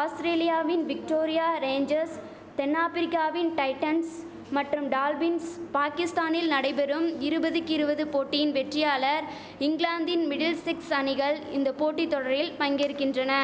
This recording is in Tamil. ஆஸ்திரேலியாவின் விக்டோரியா ரேஞ்சஸ் தென்னாபிரிக்காவின் டைட்டன்ஸ் மற்றும் டால்பின்ஸ் பாகிஸ்தானில் நடைபெறும் இருபதுக்கு இருபது போட்டியின் வெற்றியாளர் இங்கிலாந்தின் மிடில்சிக்ஸ் அணிகள் இந்த போட்டி தொடரில் பங்கேற்கின்றன